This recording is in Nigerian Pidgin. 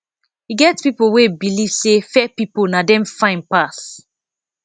e get pipo wey believe say fair pipo na dem fine pass